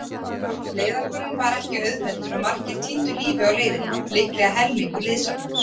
Leiðangurinn var ekki auðveldur og margir týndu lífi á leiðinni, líklega helmingur liðsaflans.